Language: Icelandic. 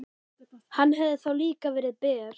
Hann hefði þá líka verið ber.